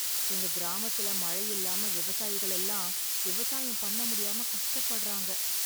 எங்க கிராமத்துல மழ இல்லாம விவசாயிகள் எல்லாம் விவசாயம் பண்ண முடியாம கஷ்டப்படுறாங்க.